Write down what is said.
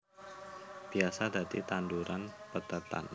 Biasa dadi tanduran pethètan